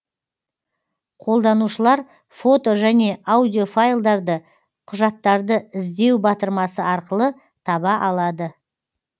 қолданушылар фото және аудиофайлдарды құжаттарды іздеу батырмасы арқылы таба алады